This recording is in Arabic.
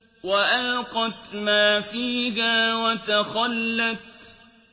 وَأَلْقَتْ مَا فِيهَا وَتَخَلَّتْ